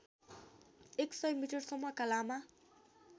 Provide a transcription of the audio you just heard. एकसय मिटरसम्मका लामा